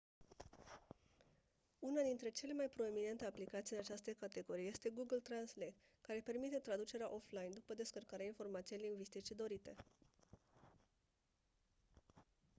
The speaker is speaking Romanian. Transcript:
una dintre cele mai proeminente aplicații în această categorie este google translate care permite traducerea offline după descărcarea informației lingvistice dorite